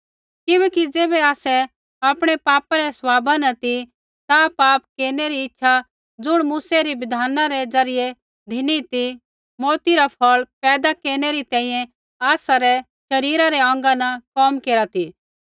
किबैकि ज़ैबै आसै आपणै पापा रै स्वभाव न ती ता पाप केरनै री इच्छा ज़ुण मूसै री बिधान रै ज़रियै धिनी ती मौऊती रा फ़ौल़ पैदा केरनै री तैंईंयैं आसरै शरीरा रै अौंगा न कोम केरा ती